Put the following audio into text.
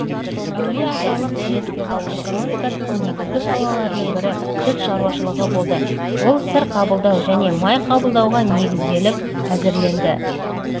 әулиеаталық немістердің экономикасының негізгі салаларының бірі сүт шаруашылығы болды ол сыр қабылдау және май қабылдауға негізделіп әзірленді